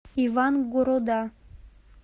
ивангорода